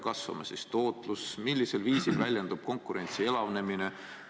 Kas see, kui palju kasvab tootlus ja millisel viisil väljendub konkurentsi elavnemine?